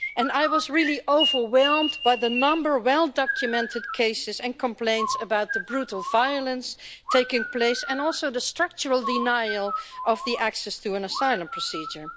I was really overwhelmed by the number of well-documented cases and complaints about the brutal violence taking place and also the structural denial of access to an asylum procedure.